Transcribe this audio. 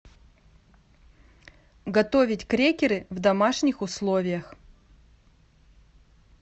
готовить крекеры в домашних условиях